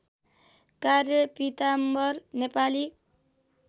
कार्य पीताम्वर नेपाली